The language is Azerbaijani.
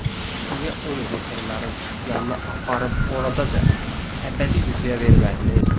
Siz niyə onu veterinarın yanına aparıb oradaca əbədi yuxuya vermədiniz?